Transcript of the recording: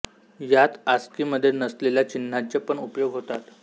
यात आस्की मध्ये नसलेल्या चिन्हांचे पण उपयोग होतात